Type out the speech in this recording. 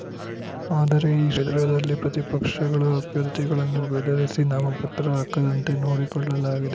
ಆದರೆ ಈ ಕ್ಷೇತ್ರದಲ್ಲಿ ಪ್ರತಿಪಕ್ಷಗಳ ಅಭ್ಯರ್ಥಿಗಳನ್ನು ಬೆದರಿಸಿ ನಾಮಪತ್ರ ಹಾಕದಂತೆ ನೋಡಿಕೊಳ್ಳಲಾಗಿದೆ